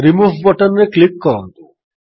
remove button ରେ click କରନ୍ତୁ